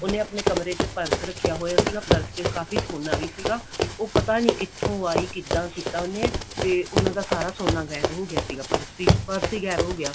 ਉਹਨੇ ਆਪਣੇ ਕਮਰੇ ਵਿੱਚ ਪਰਸ ਰੱਖਿਆ ਹੋਇਆ ਸੀ ਪਰਸ ਚ ਕਾਫੀ ਸੋਨਾ ਵੀ ਸੀਗਾ ਉਹ ਪਤਾ ਨੀ ਕਿਥੋਂ ਆਈ ਕਿਦਾਂ ਕੀਤਾ ਉਹਨੇ ਤੇ ਉਹਨਾ ਦਾ ਸਾਰਾ ਸੋਨਾ ਗਾਇਬ ਹੋ ਗਿਆ ਸੀਗਾ ਪਰਸ ਹੀ ਪਰਸ ਹੀ ਗਾਇਬ ਹੋ ਗਿਆ